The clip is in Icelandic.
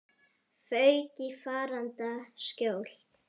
Fauk í faranda skjól.